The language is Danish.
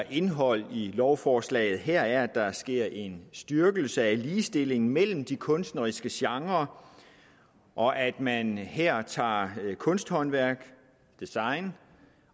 indhold i lovforslaget her er at der sker en styrkelse af ligestillingen mellem de kunstneriske genrer og at man her tager kunsthåndværk design